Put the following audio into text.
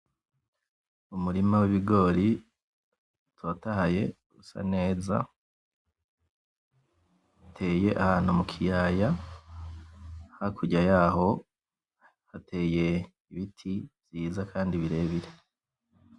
Umurima w'ibigori utotahaye usa neza, uteye ahantu mukiyaya hakurya yaho hateye ibiti vyiza kandi birebire.